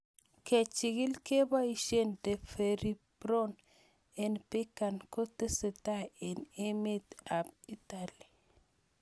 Kechigil kepoishe deferriprone eng' PKAN ko tesetai eng' emet ab Italy